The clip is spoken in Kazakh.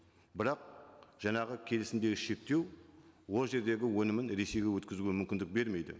бірақ жаңағы келісімдегі шектеу ол жердегі өнімін ресейге өткізуге мүмкіндік бермейді